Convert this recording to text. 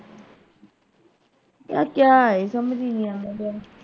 ਕਿਆ ਕਿਆ ਈ ਸਮਝ ਈ ਨਹੀਂ ਆਉਂਦਾ ਪਿਆ।